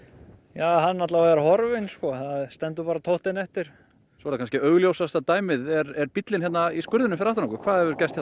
ja hann er allavega horfinn það stendur bara tóftin eftir svo er það kannski augljósasta dæmi er bíllinn í skurðinum hér fyrir aftan okkur hvað hefur gest